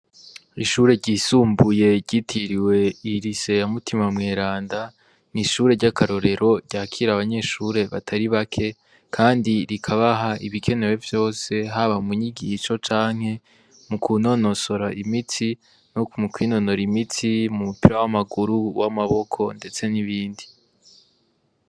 Ishure ryisumbuye ryitiriwe lycee ya mutima mweranda n'ishure ry'akarorero ryakira abanyeshure batari bake kandi rikabaha ibikenewe vyose haba mu nyigisho canke mu kunonosora imitsi no mu kwinonora imitsi mu mupira w'amaguru uw'amaboko ndetse n'ibindi.